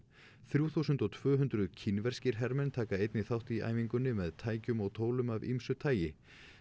þrjú þúsund og tvö hundruð kínverskir hermenn taka einnig þátt í æfingunni með tækjum og tólum af ýmsu tagi